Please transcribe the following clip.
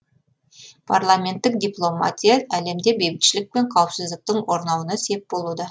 парламенттік дипломатия әлемде бейбітшілік пен қауіпсіздіктің орнауына сеп болуда